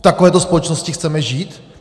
V takovéto společnosti chceme žít?